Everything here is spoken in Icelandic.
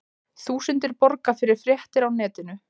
Þúsundir borga fyrir fréttir á netinu